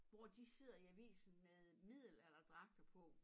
Hvor de sidder i avisen med middelalderdragter på